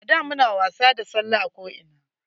A da muna wasa da salle a ko ina.